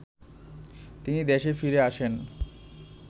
তিনি দেশে ফিরে আসেন